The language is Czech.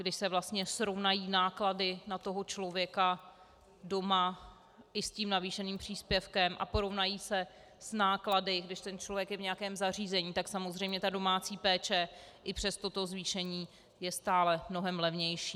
Když se vlastně srovnají náklady na toho člověka doma i s tím navýšeným příspěvkem a porovnají se s náklady, když ten člověk je v nějakém zařízení, tak samozřejmě ta domácí péče i přes toto zvýšení je stále mnohem levnější.